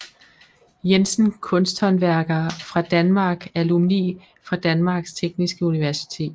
Jensen Kunsthåndværkere fra Danmark Alumni fra Danmarks Tekniske Universitet